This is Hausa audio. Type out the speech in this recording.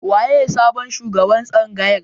Waye sabon shugaban tsangayar?